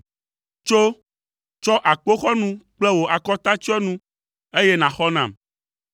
Tso, tsɔ akpoxɔnu kple wò akɔtatsyɔnu, eye nàxɔ nam.